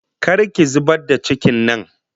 Kar ki zubar da cikin nan!